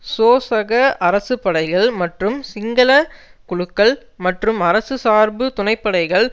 சோசக அரசு படைகள் மற்றும் சிங்கள குழுக்கள் மற்றும் அரசு சார்பு துணைப்படைகள்